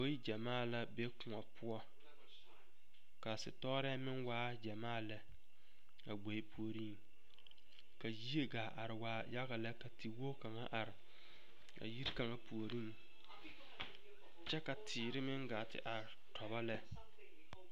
Boŋ gyamaa la be kõɔ poɔ sitɔɔre meŋ waa gyamaa lɛ a gboe puoriŋ ka yie gaa are yaga lɛ ka tekwogi kaŋa are a yiri kaŋa puoriŋ kyɛ ka teere meŋ gaa te are tobo lɛ